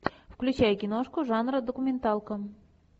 включай киношку жанра документалка